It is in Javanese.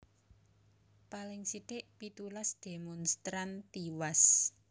Paling sithik pitulas demonstran tiwas